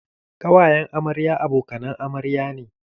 Ƙawayen amarya abokanan amarya ne.